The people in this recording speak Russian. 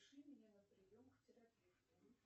запиши меня на прием к терапевту